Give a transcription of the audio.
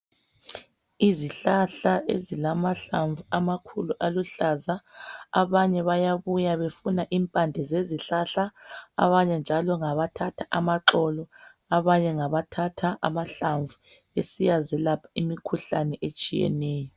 Izihlahla ezilamahlamvu amakhulu aluhlaza abanye bayabuya befuna impande zezihlahla abanye njalo ngabathatha amaxolo abanye ngabathatha amahlamvu besiyazilapha imikhuhlane etshiyeneyo.